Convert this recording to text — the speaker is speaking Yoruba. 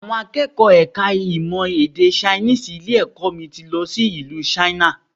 Àwọn akẹ́kọ̀ọ́ ẹ̀ka ìmọ̀ èdè Chinese ilé-ẹ̀kọ́ mi ti lọ ìlú China